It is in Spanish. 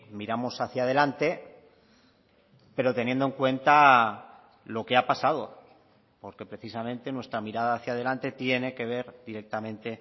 miramos hacia delante pero teniendo en cuenta lo que ha pasado porque precisamente nuestra mirada hacia delante tiene que ver directamente